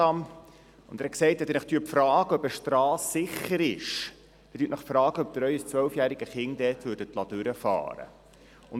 Dieser hat gesagt, wenn man sich frage, ob eine Strasse sicher sei, dann solle man sich überlegen, ob man sein zwölfjähriges Kind dort durchfahren liesse.